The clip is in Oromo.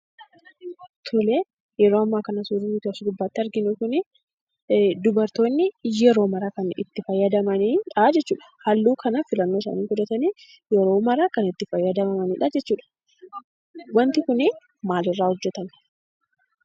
Tole yeroo ammaa kana suurri asirratti argaa jirru kun dubartoonni yeroo maraa kan itti fayyadamanidhaa jechuudha. Halluu kana filannoo isaanii filatanii yeroo maraa kan itti fayyadamaniidhaa jechuudha. Wanti kun maalirraa hojjatamaa?